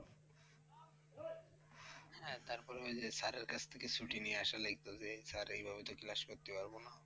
হ্যাঁ তারপরে ঐ যে sir এর কাছ থেকে ছুটি নিয়ে আসলে এই করবে, sir এই ভাবে তো class করতে পারবো না?